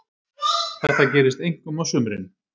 Þetta gerist einkum á sumrin.